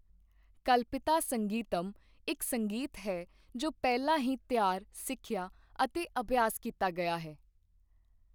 ਕਲਪਿਤਾ ਸੰਗੀਤਮ ਇੱਕ ਸੰਗੀਤ ਹੈ ਜੋ ਪਹਿਲਾਂ ਹੀ ਤਿਆਰ, ਸਿੱਖਿਆ ਅਤੇ ਅਭਿਆਸ ਕੀਤਾ ਗਿਆ ਹੈ।